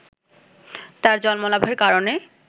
তার জন্মলাভের কারণে